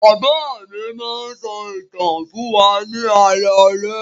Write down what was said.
Bàbá mi máa ń sọ ìtàn fún wa ní alaalẹ́.